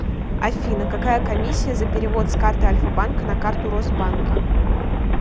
афина какая комиссия за перевод с карты альфабанка на карту росбанка